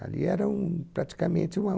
Ali era um praticamente uma